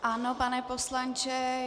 Ano, pane poslanče.